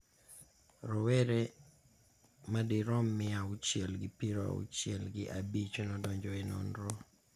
Rowere ma dirom mia auchiel gi piero auchiel gi abich nodonjo e nonrono